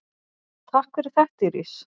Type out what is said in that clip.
Takk fyrir þetta Íris.